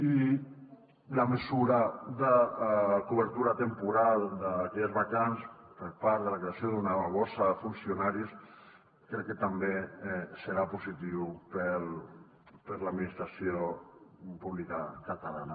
i la mesura de cobertura temporal d’aquelles vacants per part de la creació d’una borsa de funcionaris crec que també serà positiu per a l’administració pública catalana